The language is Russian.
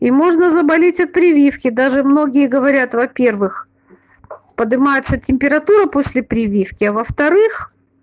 и можно заболеть от прививки даже многие говорят во-первых поднимается температура после прививки а во-вторых